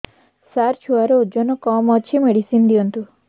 ସାର ଛୁଆର ଓଜନ କମ ଅଛି ମେଡିସିନ ଦିଅନ୍ତୁ